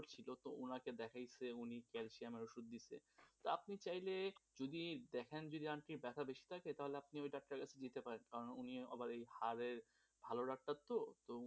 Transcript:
উনাকে দেখিয়েছেন উনি ক্যালসিয়ামের ওষুধ দিচ্ছেন, তা আপনি চাইলে যদি দেখেন যে aunty র ব্যাথা বেশি থাকে তাহলে আপনি ওই ডাক্তারের কাছে যেতে পারেন কারণ উনি আবার এই হাড়ের ভালো ডাক্তার, তো উনি